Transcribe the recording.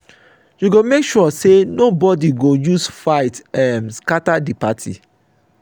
you go make sure sey nobodi go use fight um scatter di party.